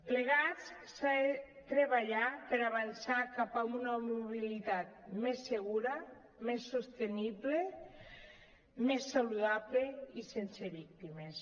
plegats s’ha de treballar per avançar cap a una mobilitat més segura més sostenible més saludable i sense víctimes